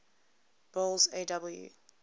boles aw